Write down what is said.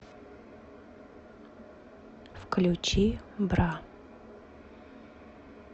включи бра